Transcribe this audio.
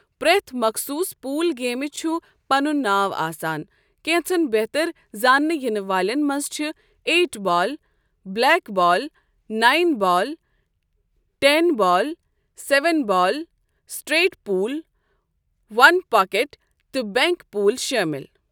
پرٮ۪تھ مَخصوٗص پوُل گیمہِ چھُ پنُن ناو آسان، كینژن بہتر زاننہٕ یِنہٕ والین مَنٛز چھِ eight ball, black ball, nine ball, ten ball, seven ball, straight pool, one pocket تہٕ بینک پول شٲمِل